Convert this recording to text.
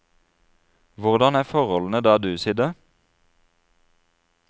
Hvordan er forholdene der du sitter?